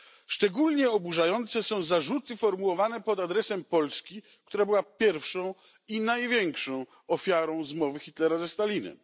Szczególnie oburzające są zarzuty formułowane pod adresem Polski, która była pierwszą i największą ofiarą zmowy Hitlera ze Stalinem.